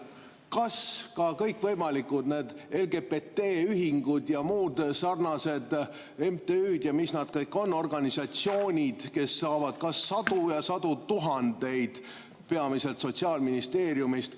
Aga meil on kõikvõimalikud LGBT-ühingud ja muud sarnased MTÜ-d ja mis nad kõik on, organisatsioonid, kes saavad sadu ja sadu tuhandeid peamiselt Sotsiaalministeeriumist.